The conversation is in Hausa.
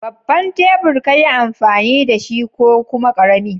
Babban tebur ka yi amfani da shi ko kuma ƙarami?